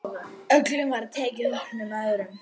Öllum var tekið opnum örmum.